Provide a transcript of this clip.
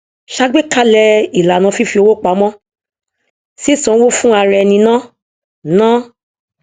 ṣàgbékalẹ ìlànà fífi owó pamọ sísan owó fún araẹni ná ná